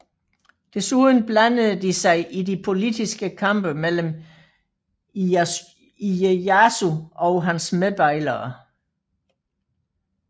Desuden blandede de sig i de politiske kampe mellem Ijejasu og hans medbejlere